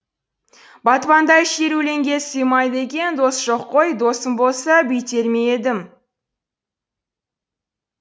батпандай шер өлеңге сыймайды екен дос жоқ қой досым болса бүйтер ме едім